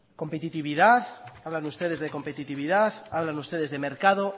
competitividad hablan ustedes de competitividad hablan ustedes de mercado